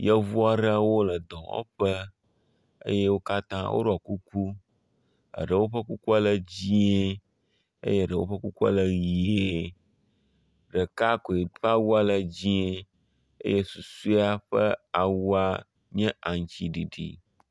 Yevu aɖwo le dɔwɔƒe eye wo katã woɖɔ kuku. Eɖewo ƒe kukua le dzie eye eɖewo ƒe kukua le ʋie eye eɖewo ƒe kukua ke ʋi. Ɖeka koe ƒe awua le dzie eye susua ƒe awua nye aŋtsiɖiɖi.